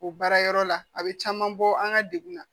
O baara yɔrɔ la a bɛ caman bɔ an ka degun na